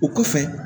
O kɔfɛ